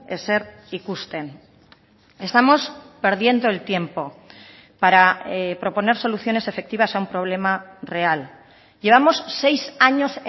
ezer ikusten estamos perdiendo el tiempo para proponer soluciones efectivas a un problema real llevamos seis años